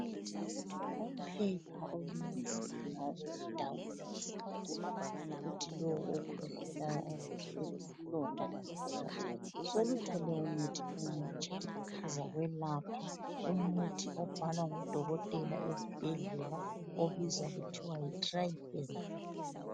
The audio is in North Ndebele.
Uphepha olunzima oludabula isifuba kuthi lo okhwehlelayo azizwe elesilonda ngaphakathi seluthole umuthi omutsha ozakwelapha , umuthi obhalwa ngudokotela esibhedlela. Obizwa kuthiwa yiTriphen.